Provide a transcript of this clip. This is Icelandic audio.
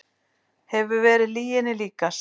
Hefur verið lyginni líkast